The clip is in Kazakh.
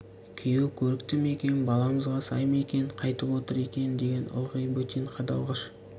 күйеу көрікті ме екен баламызға сай ма екен қайтіп отыр екен деген ылғи бір бөтен қадалғыш